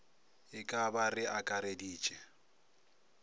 e ka ba re akareditše